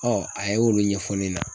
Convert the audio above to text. a ye olu ɲɛfɔ ne ɲɛna.